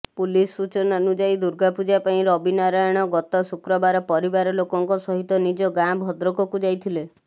police ସୂଚନାନୁଯାୟୀ ଦୁର୍ଗାପୂଜା ପାଇଁ ରବିନାରାୟଣ ଗତ ଶୁକ୍ରବାର ପରିବାର ଲୋକଙ୍କ ସହିତ ନିଜ ଗାଁ ଭଦ୍ରକକୁ ଯାଇଥିଲେ